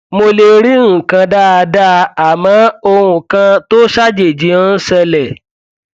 mo lè rí nǹkan dáadáa àmọ ohun kan tó ṣàjèjì ń ṣẹlẹ